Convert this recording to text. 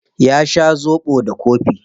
Ya sha zobo da kofi.